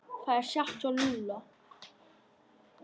Það er satt hjá Lúlla.